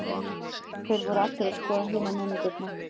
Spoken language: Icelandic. Þeir voru allir að skoða hina nemendurna.